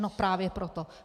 No právě proto.